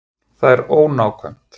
Það er ónákvæmt.